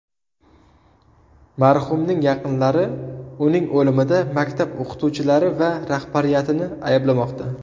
Marhumning yaqinlari uning o‘limida maktab o‘qituvchilari va rahbariyatini ayblamoqda.